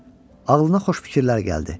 Ağlına xoş fikirlər gəldi.